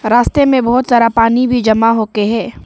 रास्ते में बहुत सारा पानी भी जमा होके है।